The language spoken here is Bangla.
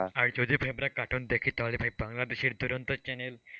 আর যদি ভাই আমরা cartoon দেখি তাহলে ভাই বাংলাদশের দুরন্ত channel,